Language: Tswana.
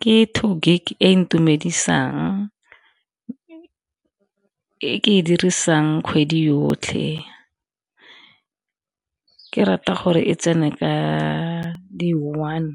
Ke two gig e ntumedisang e ke e dirisang kgwedi yotlhe ke rata gore e tsene ka di one